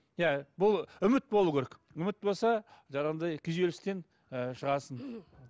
иә бұл үміт болу керек үміт болса жаңағыдай күйзелістен ы шығасың